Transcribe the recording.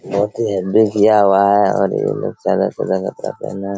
बहुत ही हेबी किया हुआ हैं और ये--